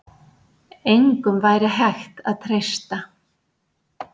Engum væri hægt að treysta.